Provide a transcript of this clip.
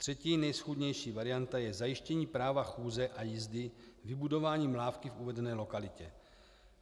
Třetí nejschůdnější varianta je zajištění práva chůze a jízdy vybudováním lávky v uvedené lokalitě.